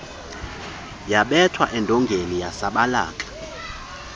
yabetha edongeni yasabalaka